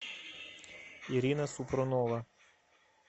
ирина супрунова